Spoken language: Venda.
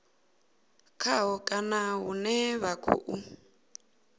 khaho kana hune vha khou